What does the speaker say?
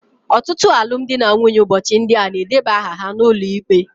Ọtụtụ alụmdi na nwunye ụbọchị ndị a na-edeba aha ha n'ụlọ ikpe